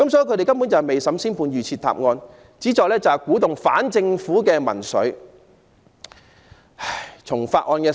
他們根本未審先判，預設答案，旨在鼓動反政府的民粹。